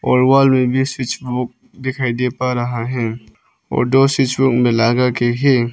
और वॉल में भी स्विच बॉक्स दिखाई दे पा रहा है और दो स्विच बॉक्स मिलागा के है।